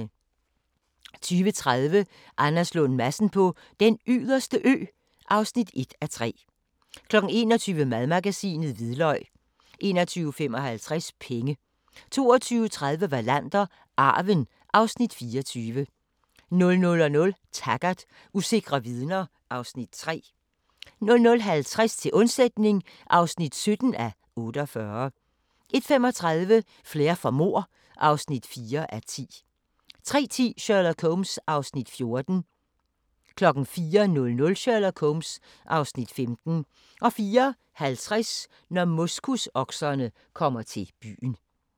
20:30: Anders Lund Madsen på Den Yderste Ø (1:3) 21:00: Madmagasinet: Hvidløg 21:55: Penge 22:30: Wallander: Arven (Afs. 24) 00:00: Taggart: Usikre vidner (Afs. 3) 00:50: Til undsætning (17:48) 01:35: Flair for mord (4:4) 03:10: Sherlock Holmes (Afs. 14) 04:00: Sherlock Holmes (Afs. 15) 04:50: Når moskusokserne kommer til byen